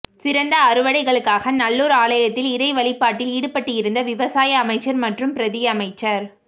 சிறந்த அறுவடைகளுக்காக நல்லூர் ஆலயத்தில் இறை வழிபாட்டில் ஈடுபட்டிருந்த விவசாய அமைச்சர் மற்றும் பிரதி அமைச்சர்